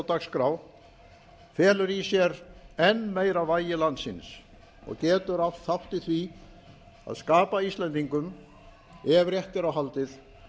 dagskrá felur í sér enn meira vægi landsins og getur átt þátt í því að skapa íslendingum ef rétt er á haldið